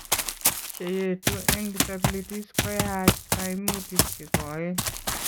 Cheyeetu eng disabilities ko yaach kaimutik chekoeen